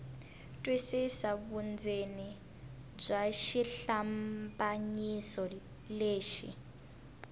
twisisa vundzeni bya xihlambanyiso lexi